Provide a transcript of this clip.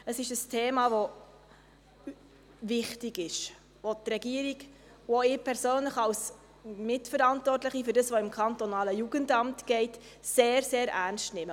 Es ist ein Thema, das wichtig ist, das die Regierung und auch ich als Mitverantwortliche für das, was im kantonalen Jugendamt getan wird, sehr, sehr ernst nehmen.